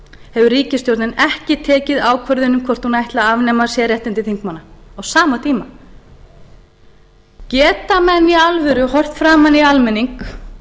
hefur ríkisstjórnin ekki tekið ákvörðun um hvort hún ætli að nema sérréttindi þingmanna á sama tíma geta menn í alvöru horft framan í almenning